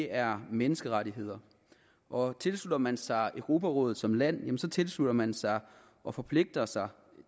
er menneskerettigheder og tilslutter man sig europarådet som land tilslutter man sig og forpligter sig